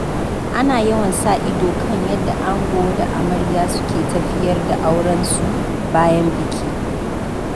Ana yawan sa ido kan yadda ango da amarya suke tafiyar da aurensu bayan biki.